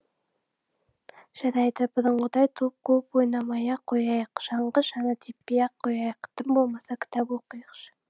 жарайды бұрынғыдай доп қуып ойнамай ақ қояйық шаңғы шаңа теппей ақ қояйық тым болмаса кітап оқиықшы